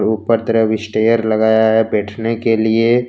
ऊपर तरफ स्टेयर्स लगाया है बैठने के लिए।